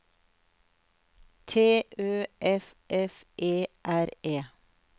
T Ø F F E R E